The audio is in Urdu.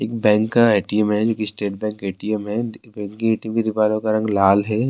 ایک بینک کا اے ٹی ایم ہے، جو اسٹیٹ بینک کا اے ٹی ایم ہے جو ک گیٹ کا کلر لال ہے--